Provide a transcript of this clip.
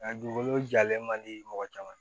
Nka dugukolo jalen man di mɔgɔ caman ma